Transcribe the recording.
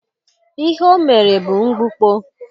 Ihe o mere bụ mgbukpọ.